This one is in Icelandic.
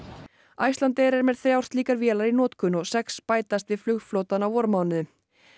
Icelandair er með þrjár slíkar vélar í notkun og sex bætast við flugflotann á vormánuðum